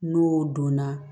N'o donna